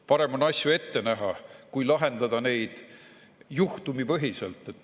Parem on asju ette näha kui lahendada neid juhtumipõhiselt.